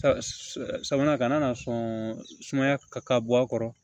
Sabanan ka na sɔn sumaya ka bɔ a kɔrɔ